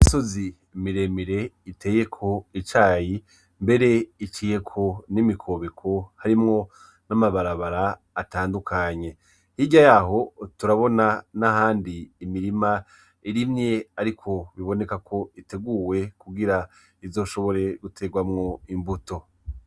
Imisozi miremire iteyeko icayi mbere iciyeko n' imikobeko nama barabara atandukanye hirya yaho turabona n' ahandi imirima irimye ariko bibonekako iteguwe kugira izoshobore gutegwamwo imbuto